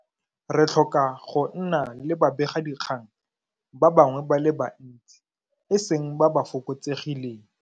Re tlhoka go nna le babegadikgang ba bangwe ba le bantsi, e seng ba ba fokotsegileng.